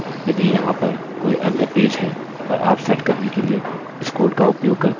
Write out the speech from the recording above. यदि यहाँ पर कोई अन्य पेज है और आप सेट करने के लिए इस कोड का उपयोग करते हैं यह कार्य करेगा